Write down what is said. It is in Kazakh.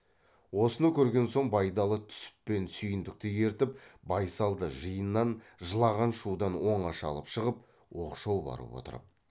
осыны көрген соң байдалы түсіп пен сүйіндікті ертіп байсалды жиыннан жылаған шудан оңаша алып шығып оқшау барып отырып